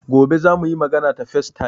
Gobe za mu yi magana ta facetime.